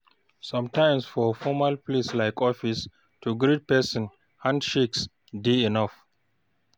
Sometimes for formal place like office, to greet person, hand shakes dey enough